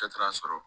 Dɔ taara sɔrɔ